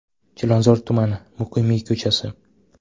Chilonzor tumani, Muqimiy ko‘chasi.